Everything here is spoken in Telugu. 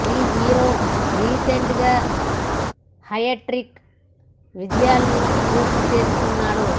ఈ హీరో రీసెంట్ గా హ్యాట్రిక్ విజయాలను పూర్తి చేసుకున్నాడు